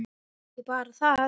Ekki bara það.